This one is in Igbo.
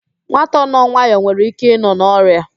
Nwata nọ nwayọ nwere ike ịnọ n'ọria